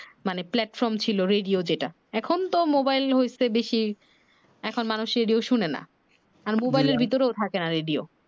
মানে platform ছিলো radio যেটা এখন তো মোবাইল হইছে বেশি, এখন মানুষ রেডিও শুনে না। এখন মোবাইল এর ভিতরেও থাকেনা রেডিও।